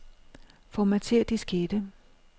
Formatér diskette.